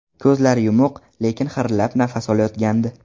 Ko‘zlari yumuq, lekin xirillab nafas olayotgandi.